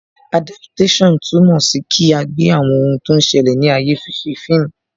Adaptation túmọ̀ sí kí agbe àwọn ohun tí ó ń ṣẹlẹ̀ ní ayé fise fíìmù